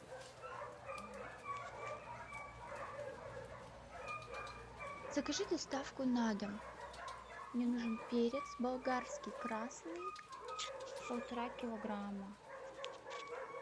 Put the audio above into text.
закажи доставку на дом мне нужен перец болгарский красный полтора килограмма